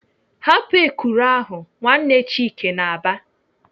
"Hapụ ekuru ahụ!" Nwanne Chike na-aba.